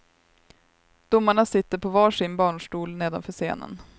Domarna sitter på var sin barnstol nedanför scenen.